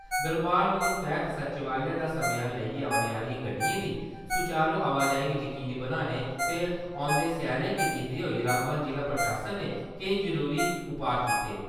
दरबार मूव तैह्त सचिवालय दा समेयान लेइयै औने आलियें गड्डियें दी सुचारु आवाजाही गी जकीनी बनाने ते औंदे स्यालै गी दिक्खदे होई रामबन जिला प्रशासन ने केईं जरूरी उपाऽ कीते।